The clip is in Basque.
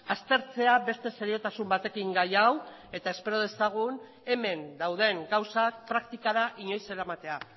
aztertzea beste seriotasun batekin gai hau eta espero dezagun hemen dauden gauzak praktikara inoiz eramatea